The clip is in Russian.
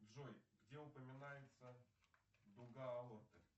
джой где упоминается дуга аорты